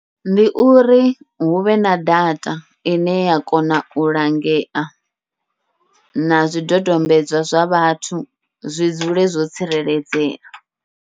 Ndi uri huvhe na data ine ya kona u langea, na zwidodombedzwa zwa vhathu zwi dzule zwo tsireledzea.